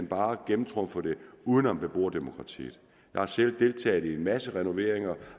bare gennemtrumfer det uden om beboerdemokratiet jeg har selv deltaget i en masse renoveringer